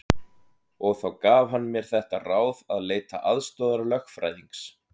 Og þá gaf hann mér þetta ráð að leita aðstoðar lögfræðings.